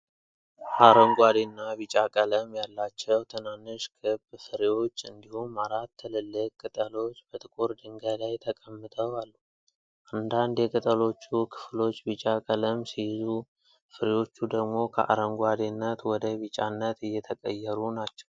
አረንጓዴና ቢጫ ቀለም ያላቸው ትናንሽ ክብ ፍሬዎች እንዲሁም አራት ትልልቅ ቅጠሎች በጥቁር ድንጋይ ላይ ተቀምጠው አሉ። አንዳንድ የቅጠሎቹ ክፍሎች ቢጫ ቀለም ሲይዙ፣ ፍሬዎቹ ደግሞ ከአረንጓዴነት ወደ ቢጫነት እየተቀየሩ ናቸው።